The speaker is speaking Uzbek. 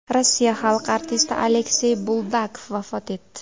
Rossiya xalq artisti Aleksey Buldakov vafot etdi.